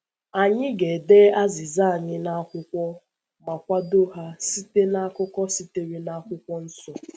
Anyị ga-ede azịza anyị n’akwụkwọ ma kwado ha site n’akụkọ sitere n’akwụkwọ nsọ.